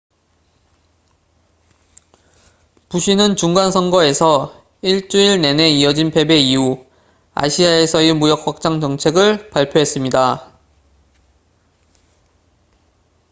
부시는 중간 선거에서 일주일 내내 이어진 패배 이후 아시아에서의 무역 확장 정책을 발표했습니다